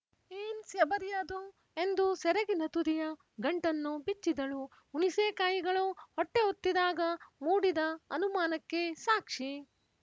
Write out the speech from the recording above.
ಏನ್ ಸ್ಯಬರಿ ಅದು ಎಂದು ಸೆರಗಿನ ತುದಿಯ ಗಂಟನ್ನು ಬಿಚ್ಚಿದಳು ಹುಣಿಸೇಕಾಯಿಗಳು ಹೊಟ್ಟೆ ಒತ್ತಿದಾಗ ಮೂಡಿದ ಅನುಮಾನಕ್ಕೆ ಸಾಕ್ಷಿ